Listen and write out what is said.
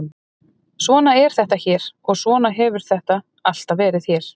Svona er þetta hér og svona hefur þetta alltaf verið hér.